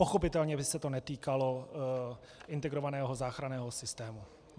Pochopitelně by se to netýkalo integrovaného záchranného systému.